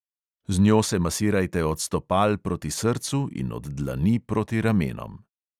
Z njo se masirajte od stopal proti srcu in od dlani proti ramenom.